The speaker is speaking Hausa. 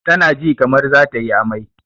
Ta na ji kamar za tayi amai